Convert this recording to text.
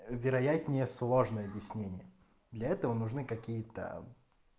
вероятнее сложные объяснения для этого нужны какие-то